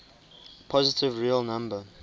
positive real number